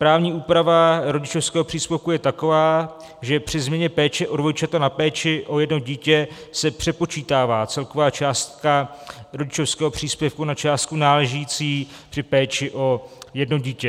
Právní úprava rodičovského příspěvku je taková, že při změně péče o dvojčata na péči o jedno dítě se přepočítává celková částka rodičovského příspěvku na částku náležející při péči o jedno dítě.